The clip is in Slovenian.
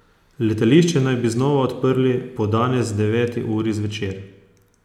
Letališče naj bi znova odprli po danes deveti uri zvečer.